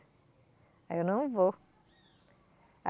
Aí eu não vou.